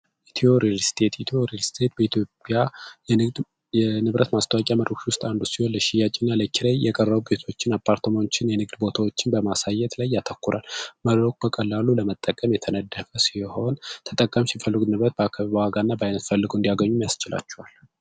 ethio realistic ሽያጭ የቀረውን አፓርትመንት ቦታዎችን በማሳየት ላይ ያተኮረ ለመጠቀም ሲሆን ተጠቃሚ ሲፈልጉ ንብረት በአካባቢ እንዲያገኙ ያስችላቸዋል